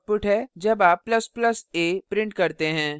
यह output है जब आप ++ a print करते हैं